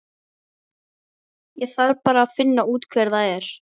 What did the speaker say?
Ég þarf bara að finna út hver það er.